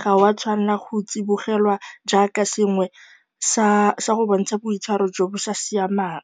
ga o a tshwanela go tsibogelwa jaaka sengwe sa go bontsha boitshwaro jo bo sa siamang.